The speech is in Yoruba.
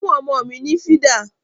Fún ọmọ mi ni fìdà!